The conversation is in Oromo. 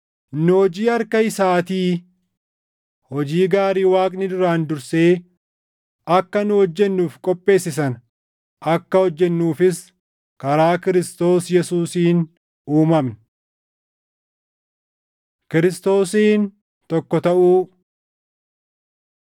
Nu hojii harka isaatii; hojii gaarii Waaqni duraan dursee akka nu hojjennuuf qopheesse sana akka hojjennuufis karaa Kiristoos Yesuusiin uumamne. Kiristoosiin Tokko Taʼuu